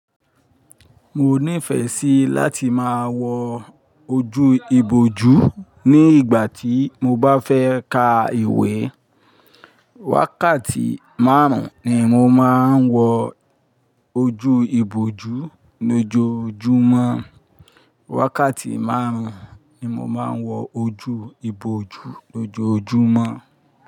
Mo nífẹ sí láti máa wọ ojú ìbòjú ní ìgbà tí mo bá fẹ́ ka ìwé. Wákàtí márùn ni mo máa ń wọ ojú ìbòjú lójoojúmọ́. Wákàtí márùn-ún ni mo máa ń wọ ojú ìbòjú lójoojúmọ́